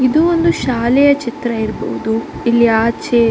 ಇದು ಒಂದು ಶಾಲೆಯ ಚಿತ್ರ ಇರಬಹುದು ಇಲ್ಲಿ ಆಚೆ --